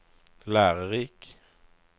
lærerik